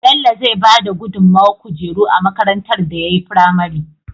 Bello zai bada gudun mawar kujeru a makarantar da yayi fimare